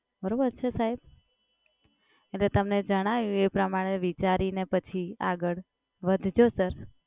બરોબર છે સાહેબ? અને તમને જણાયું એ પ્રમાણે વિચારીને પછી આગળ વધજો સર.